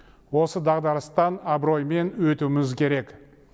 осы дағдарыстан абыроймен өтуіміз керек